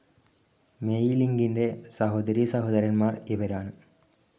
May ലിംഗിൻ്റെ സഹോദരീ സഹോദരൻമാർ ഇവരാണ്.